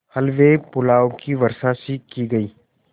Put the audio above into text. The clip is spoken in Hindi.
हलवेपुलाव की वर्षासी की गयी